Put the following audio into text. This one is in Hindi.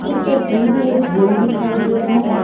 इस तस्वीर में एक जिम दिखाई दे रहा है।